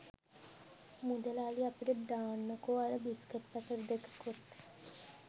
මුදලාලි අපිට දාන්නකෝ අර බිස්කට් පැකට් දෙකකුත්